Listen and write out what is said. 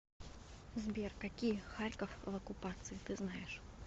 сбер какие харьков в оккупации ты знаешь